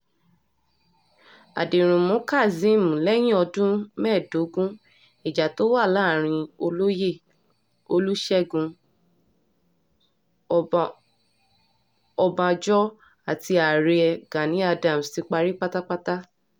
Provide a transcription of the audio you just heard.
àdẹ̀rùnmú kazeem lẹ́yìn ọdún mẹ́ẹ̀dógún ìjà tó wà láàrin olóyè olùṣègùn ọbànjọ́ àti ààrẹ gani adams ti parí pátápátá